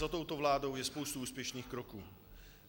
Za touto vládou je spousta úspěšných kroků.